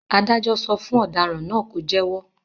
Adájọ́ sọ fún ọ̀daràn náà ló jẹ́wọ́.